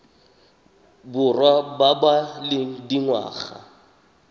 borwa ba ba leng dingwaga